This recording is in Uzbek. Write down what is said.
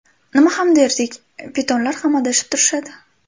Nima ham derdik, pitonlar ham adashib turishadi.